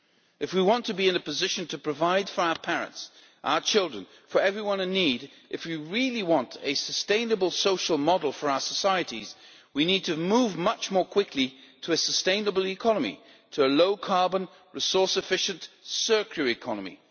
If we want to be in a position to provide for our parents, our children, for everyone in need, if we really want a sustainable, social model for our societies, we need to move much more quickly to a sustainable economy, to a low carbon, resource efficient, circular economy.